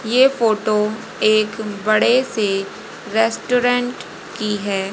ये फोटो एक बड़े से रेस्टोरेंट की है।